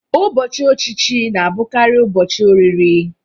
Ụbọchị ọchịchị na-abụkarị ụbọchị oriri